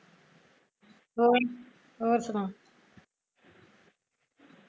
ਹੋਰ ਹੋਰ ਸੁਣਾ